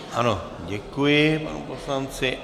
Ano, děkuji panu poslanci.